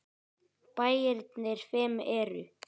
Bæirnir fimm eru